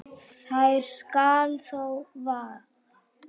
þær skal Þór vaða